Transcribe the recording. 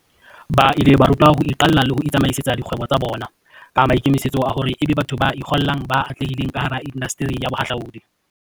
Ba ile ba rutwa ka ho iqalla le ho itsamaisetsa dikgwebo tsa bona, ka maikemisetso a hore ebe batho ba ikgollang ba atlehileng kahara indasteri ya bohahlaudi.